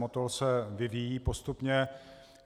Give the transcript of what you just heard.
Motol se vyvíjí postupně.